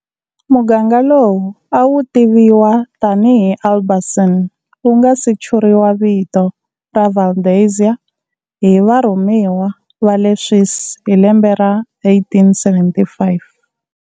Muganga lowu a wutiviwa tani hi Albasini wu nga si churiwa vito ra Valdezia hi varhumiwa va le Swisi hi lembe ra 1875.